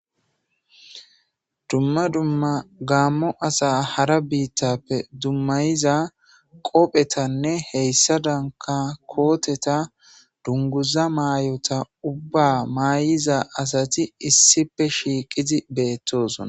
dumma dumma gaammo asa hara biittappe dummayiza qophetanne heyssa danka kooteta dunguza maay7ota ubba maayiza asati issife shiiqidi beettosona